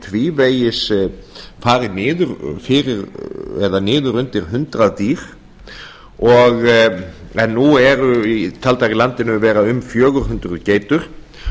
tvívegis farið niður undir hundrað dýr en nú eru taldar í landinu vera um fjögur hundruð geitur